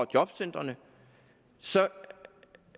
jobcentrene